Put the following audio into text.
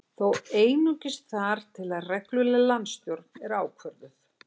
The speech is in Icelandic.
Þó einungis þar til að regluleg landsstjórn er ákvörðuð